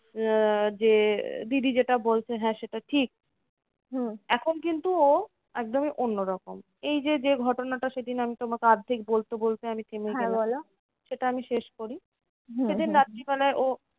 আহ যে দিদি যেটা বলছে হ্যাঁ সেটা ঠিক। এখন কিন্তু ও একদমই অন্যরকম। এই যে যে ঘটনাটা সেদিন আমি তোমাকে অর্ধেক বলতে বলতে আমি থেমে গেলাম, সেটা আমি শেষ করি। সেদিন রাত্রিবেলায় ও